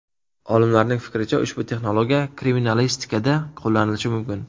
Olimlarning fikricha, ushbu texnologiya kriminalistikada qo‘llanilishi mumkin.